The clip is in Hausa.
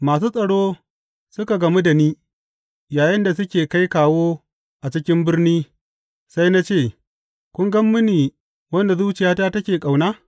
Masu tsaro suka gamu da ni yayinda suke kai kawo a cikin birni, sai na ce, Kun ga mini wanda zuciyata take ƙauna?